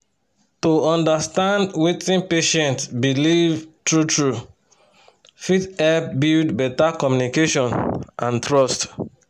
to understand wetin patient believe true-true fit help build better communication and trust.